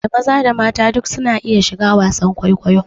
Da maza da mata duk su na iya shiga wasan kwaikwayo